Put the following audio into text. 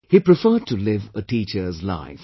He preferred to live a teacher's life